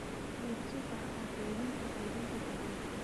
Iibso bacaha kaydinta quudinta digaagga.